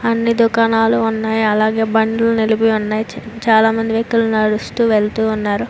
అన్ని దుకాణాలు ఉన్నాయ్. అలాగే బండ్లు కూడా ఉన్నాయి. చా చాలా మంది వ్యక్తులు నడుస్తూ వెళ్తూ ఉన్నారు.